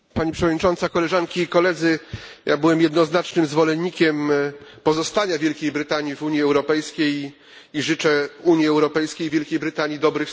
Ja byłem jednoznacznym zwolennikiem pozostania Wielkiej Brytanii w Unii Europejskiej i życzę Unii Europejskiej i Wielkiej Brytanii dobrych stosunków.